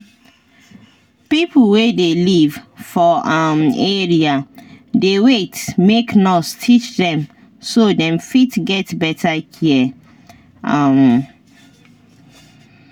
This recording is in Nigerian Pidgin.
people wey dey live for um area dey wait make nurse teach dem so dem fit get better care. um